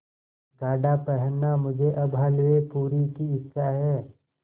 गाढ़ा पहनना मुझे अब हल्वेपूरी की इच्छा है